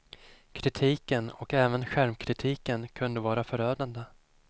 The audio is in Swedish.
Kritiken och även självkritiken kunde vara förödande.